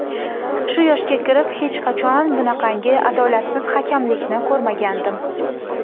Shu yoshga kirib hech qachon bunaqangi adolatsiz hakamlikni ko‘rmagandim.